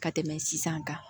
Ka tɛmɛ sisan kan